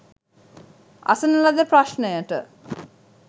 අසන ලද ප්‍රශ්නයට